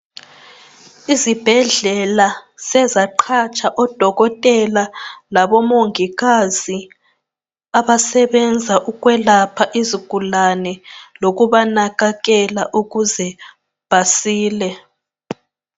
Izibhedlela sezaqatsha odokotela labomongikazi abasebenza ukwelapha izigulane lokubanakekela ukuze basile.